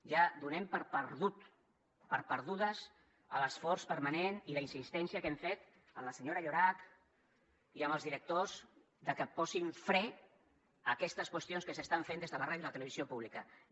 ja donem per perduts l’esforç permanent i la insistència que hem fet a la senyora llorach i als directors de que posin fre a aquestes qüestions que s’estan fent des de la ràdio i la televisió públiques